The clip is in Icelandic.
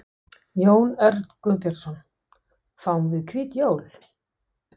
Jón Örn Guðbjartsson: Fáum við hvít jól?